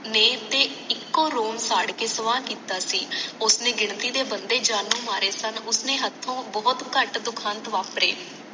ਨੇ ਤੇ ਇਕੋ ਸਾੜਕੇ ਕੇ ਸਵਾਹ ਕੀਤਾ ਸੀ ਉਸਨੇ ਗਿਣਤੀ ਦੇ ਬੰਦੇ ਜਾਣੋ ਮਾਰੇ ਸਨ ਓਹਨੇ ਹੱਥੋਂ ਬਹੁਤ ਘਟ ਦੁਖਾਂਤ ਵਾਪਰੇ